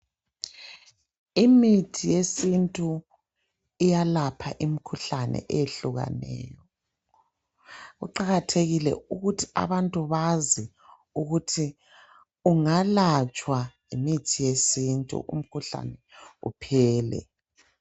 Imithi yesintu iyalapha imikhuhlane eyehlukeneyo. Kuqakathekile ukuthi abantu bazi ukuthi ungalatshwa ngemithi yesintu umkhuhlane uphele.